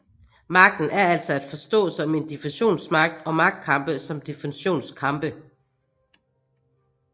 Magten er altså at forstå som en definitionsmagt og magtkampe som definitionskampe